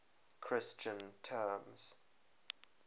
christian terms